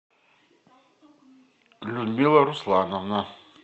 людмила руслановна